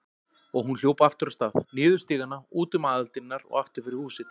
Og hún hljóp aftur af stað, niður stigana, út um aðaldyrnar og aftur fyrir húsið.